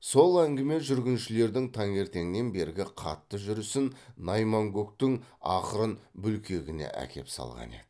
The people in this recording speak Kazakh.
сол әңгіме жүргіншілердің таңертеңнен бергі қатты жүрісін найманкөктің ақырын бүлкегіне әкеп салған еді